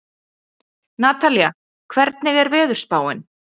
Natalía, hvernig er veðurspáin?